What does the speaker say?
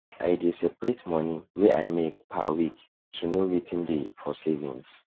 i dey separate money wey i make per week to know wetin dey for savings